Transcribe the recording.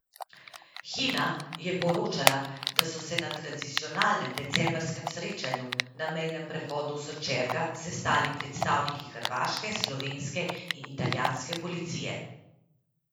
Hina je poročala, da so se na tradicionalnem decembrskem srečanju na mejnem prehodu Sočerga sestali predstavniki hrvaške, slovenske in italijanske policije.